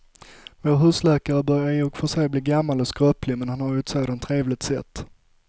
Vår husläkare börjar i och för sig bli gammal och skröplig, men han har ju ett sådant trevligt sätt!